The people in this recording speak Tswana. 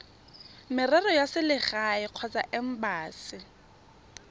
merero ya selegae kgotsa embasi